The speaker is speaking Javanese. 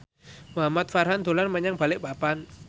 Muhamad Farhan dolan menyang Balikpapan